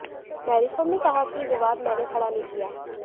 मेरीकॉम ने कहा कि यह विवाद मैने खड़ा नहीं किया